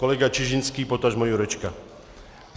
Kolega Čižinský, potažmo Jurečka.